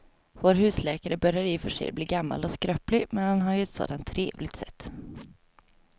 Vår husläkare börjar i och för sig bli gammal och skröplig, men han har ju ett sådant trevligt sätt!